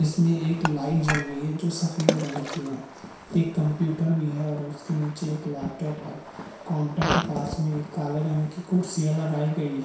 इसमें एक लाइट जल रही है जो सफेद रंग की है एक कम्प्युटर भी है और उसके नीचे एक लॅपटॉप है काउंटर के पास में एक काले रंग की कुदसियां लगाई गई हैं ।